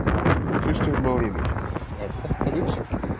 Kristján Már Unnarsson: Er þetta vinsælt?